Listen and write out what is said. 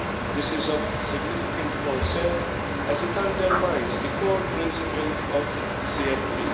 This is of significant concern, as it undermines the core principle of the CFP.